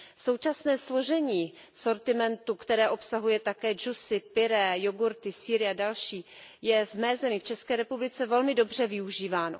Současné složení sortimentu, které obsahuje také džusy, pyré, jogurty, sýry a další, je v mé zemi, v České republice, velmi dobře využíváno.